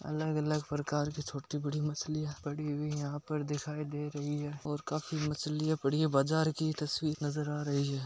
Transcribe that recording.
अलग अलग प्रकार की छोटी बड़ी मछलिया पड़ी हुयी यहा पर दिखाय दे रही हैं और खाफी मछलिया पड़ी है बाजार की तस्वीर नजर आ रही हैं।